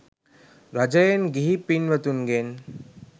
රජයෙන් ගිහි පින්වතුන්ගෙන්